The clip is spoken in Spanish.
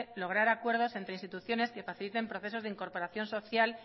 lograr acuerdos entre instituciones que faciliten procesos de incorporación social